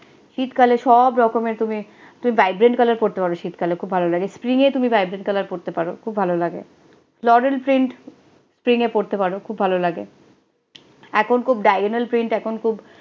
শীতকালে সব রকমের তুমি তুমি vibrant colours পড়তে পারো শীতকালে খুব ভালো লাগে spring এ তুমি vibrant colour পড়তে পারো খুব ভালো লাগে, floral print spring এ পোড়তে পারো, খূব ভালো লাগে, এখুন খূব diagonal print এখুন খূব